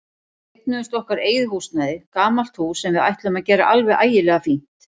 Við eignuðumst okkar eigið húsnæði, gamalt hús sem við ætluðum að gera alveg ægilega fínt.